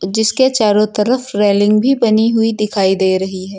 जिसके चारों तरफ रेलिंग भी बनी हुई दिखाई दे रही है।